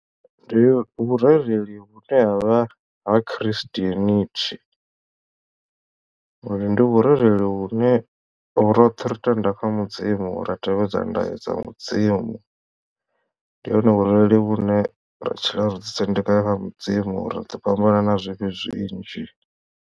Ndi vhurereli vhune havha ha christianity uri ndi vhurereli vhune roṱhe ri tenda kha mudzimu ra tevhedza ndayo dza mudzimu ndi hone vhurereli vhune ra tshila ro ḓi sendeka kha mudzimu ri ḓo fhambana na zwivhi zwinzhi.